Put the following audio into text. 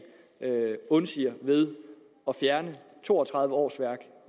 undsiger ved at fjerne to og tredive årsværk